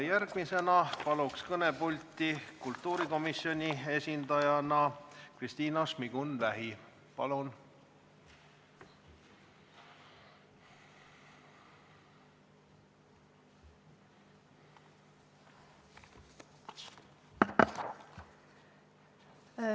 Järgmisena palun kõnepulti kultuurikomisjoni esindajana Kristina Šmigun-Vähi!